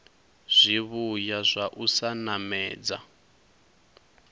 zwivhuya zwa u sa namedza